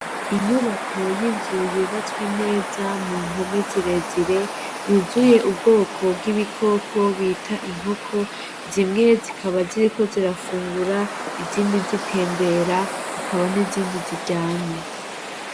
Inyubako yinzuyubatswe neza mu mpome zirezire yuzuye ubwoko bw'ibikoko bita inkoko zimwe zikaba ziriko zirafungura izindi zitembera hakaba n'izindi ziryamye.